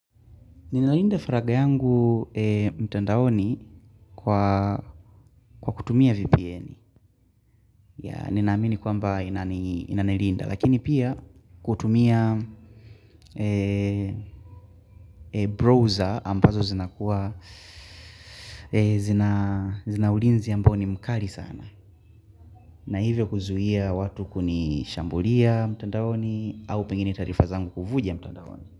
Ninalinda faragha yangu mtandaoni kwa kutumia VPN ninaamini kwamba inanilinda lakini pia kutumia browser ambazo zina ulinzi ambao ni mkali sana na hivyo kuzuia watu kunishambulia mtandaoni au pengine taarifa zangu kufuja mtandaoni.